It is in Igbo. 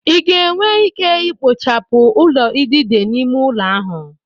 Ị ga-enwe ike ikpochapụ ulo udide n'ime ụlọ ahụ